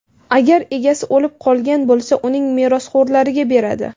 Agar egasi o‘lib qolgan bo‘lsa, uning merosxo‘rlariga beradi.